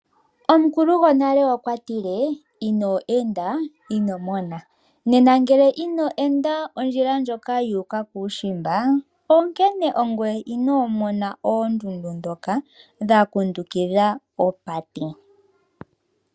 Omukulu gonale okwa tile: ino enda ino mona. Nena ngele ino enda ondjila ndjoka yu u ka kuushimba onkene ongweye inoo mona oondundu ndhoka dha kundukidha opate.